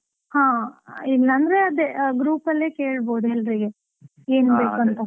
ಹಾ, ಇಲ್ಲ ಅಂದ್ರೆ ಅದೇ group ಅಲ್ಲೇ ಕೇಳ್ಬೋದು ಎಲ್ಲರಿಗೆ, ಏನು ಬೇಕು ಅಂತ?